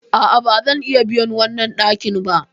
A'a, ba zan iya biyan wannan ɗakin ba.